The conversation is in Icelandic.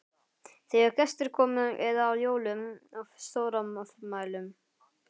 Þegar gestir komu eða á jólum og stórafmælum.